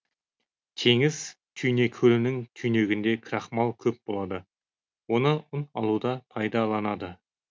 теңіз түйнекөлінің түйнегінде крахмал көп болады оны ұн алуда пайдаланады